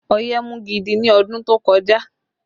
Ọ̀yẹ́ mú gidi ni ọdún tó kọjá